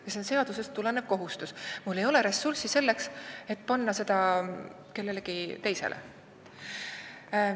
See on seadusest tulenev kohustus ja mul ei ole ka ressurssi panna seda ülesannet kellelegi teisele.